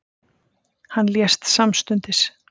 Hann lést samstundis.